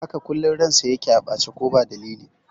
Haka, kullum ransa a ɓace yake ko ba dalili